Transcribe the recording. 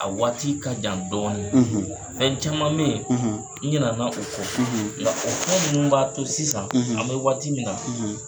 A waati ka jan dɔɔni. Fɛn caman me ye, n ɲinɛna o ko. Nka o fɛn nunnu b'a to sisan, an be waati min na